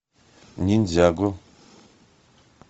ниндзяго